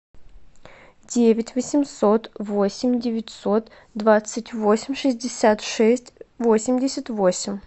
девять восемьсот восемь девятьсот двадцать восемь шестьдесят шесть восемьдесят восемь